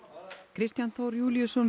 Kristján Þór Júlíusson